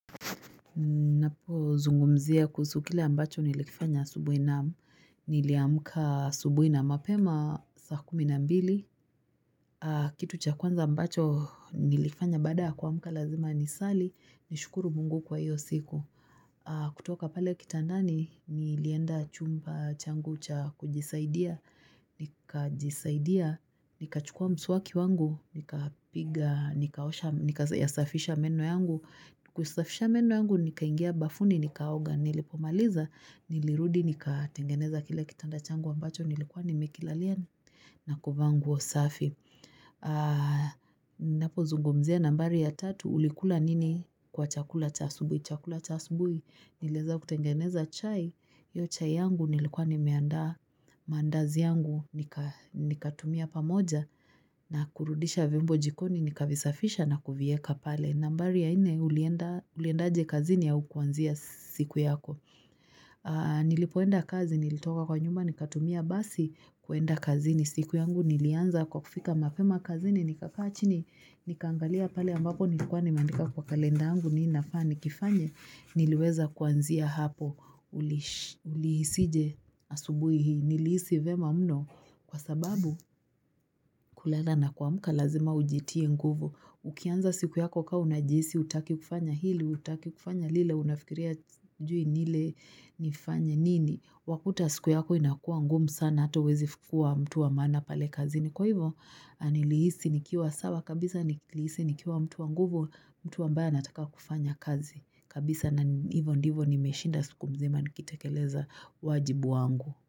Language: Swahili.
Ninapo zungumzia kuhusu kile ambacho nilikifanya asubuhi, naam Niliamka asubuhi na mapema saa kumi na mbili. Kitu cha kwanza ambacho nilifanya baada kuamka lazima nisali. Nishukuru Mungu kwa hiyo siku. Kutoka pale kitandani nilienda chumba changu cha kujisaidia Nikajisaidia, nikachukuwa mswaki wangu. Nikapiga, nikaosha, nikayasafisha meno yangu. Kusafisha meno yangu, nikaingia bafuni nikaoga, nilipomaliza nilirudi nikatengeneza kile kitanda changu ambacho nilikuwa nimekilalia na kuvaa nguo safi Ninapozungumzia nambari ya tatu, Ulikula nini kwa chakula cha asubuhi, chakula cha asubuhi, niliweza kutengeneza chai. Hiyo chai yangu nilikuwa nimeandaa mandazi yangu, nikatumia pamoja na kurudisha vyombo jikoni, nikavisafisha na kuvieka pale. Nambari ya nne, uliendaje kazini au kuanzia siku yako? Nilipoenda kazi, nilitoka kwa nyumba nikatumia basi kuenda kazini. Siku yangu nilianza kwa kufika mapema kazini, nikakaa chini nikaangalia pale ambako nilikuwa nimeandika kwa kalenda yangu nini nafaa nikifanye, niliweza kuanzia hapo, ulihisije asubuhi hii? Nilihisi vyema mno kwa sababu kulala na kuamka lazima ujitie nguvu. Ukianza siku yako ka unajihisi hutaki kufanya hili, hutaki kufanya lile unafikiria hujui ni ile nifanye nini. Wakuta siku yako inakuwa ngumu sana hata huwezi kuwa mtu wa maana pale kazini. Kwa hivyo nilihisi nikiwa sawa kabisa, nilihisi nikiwa mtu wa nguvu, mtu ambaye anataka kufanya kazi kabisa na hivyo ndivyo nimeshinda siku mzima nikitekeleza wajibu wangu.